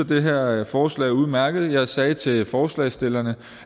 det her forslag er udmærket jeg sagde til forslagsstillerne